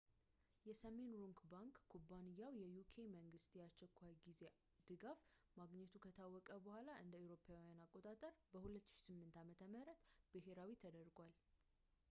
የሰሜን ሮክ ባንክ ኩባንያው የuk መንግሥት የአስቸኳይ ጊዜ ድጋፍ ማግኘቱ ከታወቀ በኋላ እ.ኤ.አ. በ 2008 ዓ.ም ብሄራዊ ተደርጓል